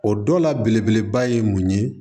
O dɔ la belebeleba ye mun ye